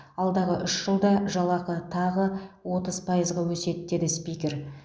алдағы үш жылда жалақы тағы отыз пайызға өседі деді спикер